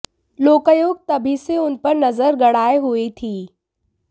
लोकायुक्त तभी से उन पर नजर गड़ाए हुए थी